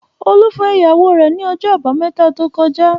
Olú fẹ́ ìyàwó rẹ̀ ní ọjọ́ àbámẹ́ta tó kọjá.